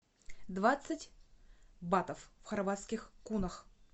двадцать батов в хорватских кунах